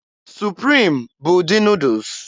Supriim bụ ụdị Nuudus.